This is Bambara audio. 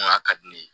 ka di ne ye